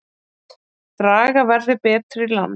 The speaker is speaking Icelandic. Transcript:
Draga verði betur í land